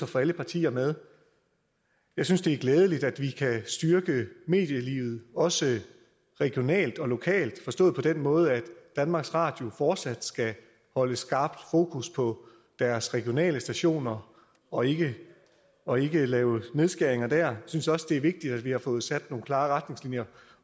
få alle partier med jeg synes det er glædeligt at vi kan styrke medielivet også regionalt og lokalt forstået på den måde at danmarks radio fortsat skal holde skarpt fokus på deres regionale stationer og ikke og ikke lave nedskæringer dér jeg synes også det er vigtigt at vi har fået sat nogle klare retningslinjer